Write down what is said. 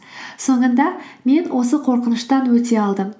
соңында мен осы қорқыныштан өте алдым